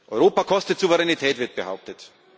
Europa kostet Souveränität, wird behauptet.